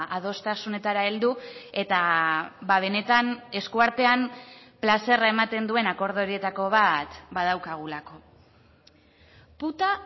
adostasunetara heldu eta benetan eskuartean plazerra ematen duen akordio horietako bat badaukagulako puta